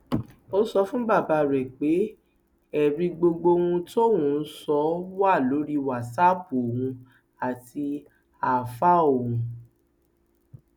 ó sọ fún bàbá rẹ pé ẹrí gbogbo ohun tí òun ń sọ wà lórí wàsápù òun àti ááfáà ọhún